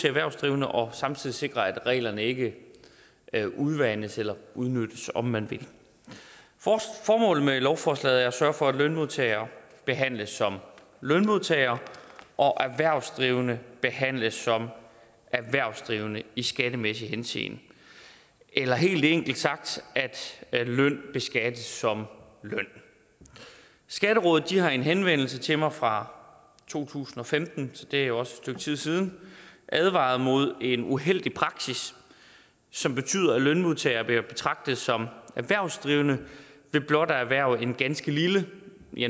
erhvervsdrivende og samtidig sikre at reglerne ikke udvandes eller udnyttes om man vil formålet med lovforslaget er at sørge for at lønmodtagere behandles som lønmodtagere og erhvervsdrivende behandles som erhvervsdrivende i skattemæssig henseende eller helt enkelt sagt at løn beskattes som løn skatterådet har i en henvendelse til mig fra to tusind og femten så det er jo et stykke tid siden advaret imod en uheldig praksis som betyder at lønmodtagere vil være at betragte som erhvervsdrivende ved blot at erhverve en ganske lille